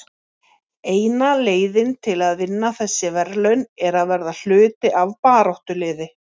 Eina leiðin til að vinna þessi verðlaun er að vera hluti af baráttuliði.